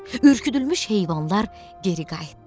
Ürküdülmüş heyvanlar geri qayıtdı.